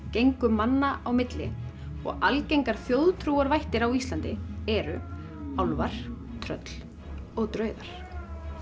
gengur manna á milli og algengar á Íslandi eru álfar tröll og draugar